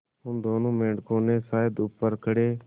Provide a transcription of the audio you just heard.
उन दोनों मेढकों ने शायद ऊपर खड़े